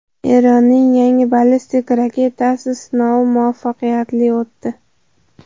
Eronning yangi ballistik raketasi sinovi muvaffaqiyatli o‘tdi.